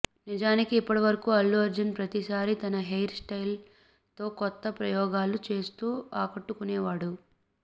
నిజానికి ఇప్పటివరకు అల్లు అర్జున్ ప్రతిసారి తన హెయిర్ స్టయిల్తో కొత్త ప్రయోగాలు చేస్తూ ఆకట్టుకునేవాడు